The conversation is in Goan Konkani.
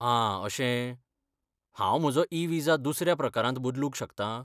आं अशें, हांव म्हजो ई विजा दुसऱ्या प्रकारांत बदलूंक शकतां?